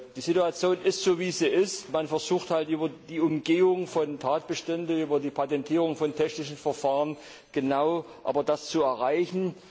Die Situation ist so, wie sie ist Man versucht halt unter Umgehung von Tatbeständen über die Patentierung von technischen Verfahren genau das zu erreichen.